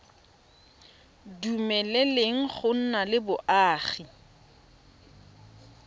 dumeleleng go nna le boagi